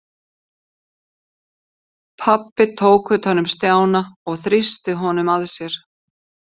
Pabbi tók utan um Stjána og þrýsti honum að sér.